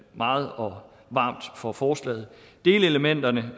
meget og varmt for forslaget delelementerne